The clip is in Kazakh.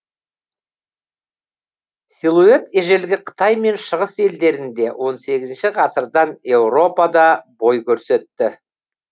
силуэт ежелгі қытай мен шығыс елдерінде он сегізінші ғасырдан еуропада бой көрсетті